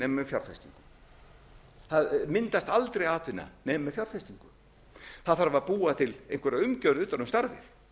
með fjárfestingu það myndast aldrei atvinna nema með fjárfestingu það þarf að búa ætla einhverja umgjörð utan um starfið